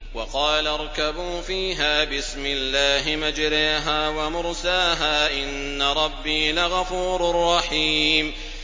۞ وَقَالَ ارْكَبُوا فِيهَا بِسْمِ اللَّهِ مَجْرَاهَا وَمُرْسَاهَا ۚ إِنَّ رَبِّي لَغَفُورٌ رَّحِيمٌ